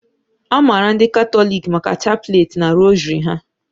A maara ndị Katọliki maka chapleti na rosary ha